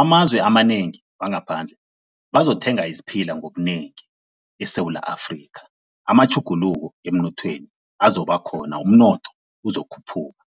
amazwe amanengi wangaphandle bazokuthenga isiphila ngobunengi eSewula Afrika, amatjhuguluko emnothweni azoba khona, umnotho uzokukhuphuka.